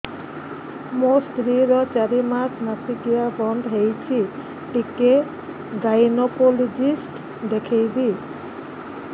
ମୋ ସ୍ତ୍ରୀ ର ଚାରି ମାସ ମାସିକିଆ ବନ୍ଦ ହେଇଛି ଟିକେ ଗାଇନେକୋଲୋଜିଷ୍ଟ ଦେଖେଇବି